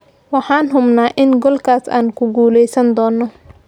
"Waxaan hubnaa in goolkaas aan ku guuleysan doonno."